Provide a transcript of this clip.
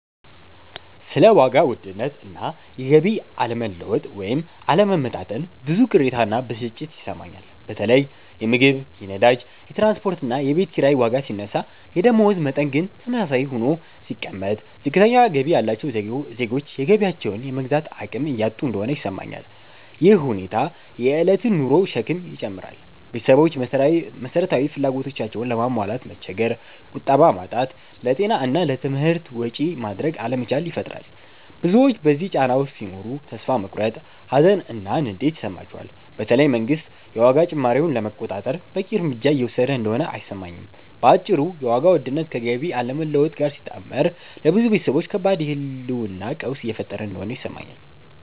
ስለ ዋጋ ውድነት እና የገቢ አለመለወጥ (ወይም አለመመጣጠን) ብዙ ቅሬታ እና ብስጭት ይሰማኛል። በተለይ የምግብ፣ የነዳጅ፣ የትራንስፖርት እና የቤት ኪራይ ዋጋ ሲነሳ የደመወዝ መጠን ግን ተመሳሳይ ሆኖ ሲቀመጥ፣ ዝቅተኛ ገቢ ያላቸው ዜጎች የገቢያቸውን የመግዛት አቅም እያጡ እንደሆነ ይሰማኛል። ይህ ሁኔታ የእለት ኑሮን ሸክም ይጨምራል – ቤተሰቦች መሰረታዊ ፍላጎቶቻቸውንም ለማሟላት መቸገር፣ ቁጠባ ማጣት፣ ለጤና እና ለትምህርት ወጪ ማድረግ አለመቻል ይፈጥራል። ብዙዎች በዚህ ጫና ውስጥ ሲኖሩ ተስፋ መቁረጥ፣ ሀዘን እና ንዴት ይሰማቸዋል፤ በተለይ መንግስት የዋጋ ጭማሪውን ለመቆጣጠር በቂ እርምጃ እየወሰደ እንደሆነ አይሰማኝም። በአጭሩ የዋጋ ውድነት ከገቢ አለመለወጥ ጋር ሲጣመር ለብዙ ቤተሰቦች ከባድ የህልውና ቀውስ እየፈጠረ እንደሆነ ይሰማኛል።